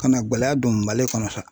Ka na gɛlɛya don Mali kɔnɔ.